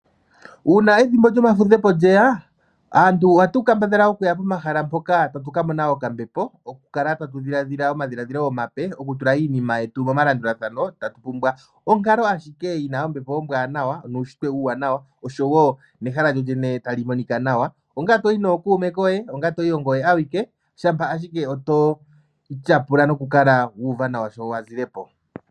Uuna ethimbo lyomafudhepo lyeya, aantu ohatu kambadhala okuya pomahala mpoka tatu ka mona okambepo, oku kala tatu dhilaadhila omadhiladhilo omape, oku tula iinima yetu momalandulathano tatu pumbwa onkalo ashike yina ombepo ombwaanawa nuunshitwe uuwaanawa, oshowo nehala lyolyene tali monika nawa ongele toyi nookuume koye, ongele toyi ongoye awike shampa ashike to tyapula noku kala wu uva nawa sho wa zile po.